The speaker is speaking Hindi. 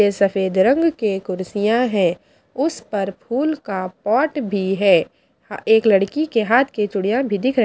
ये सफेद रंग के कुर्सियां हैं उस पर फूल का पॉट भी है हां एक लड़की के हाथ के चूड़ियां भी दिख र --